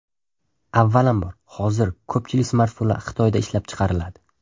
Avvalambor, hozir ko‘pchilik smartfonlar Xitoyda ishlab chiqariladi.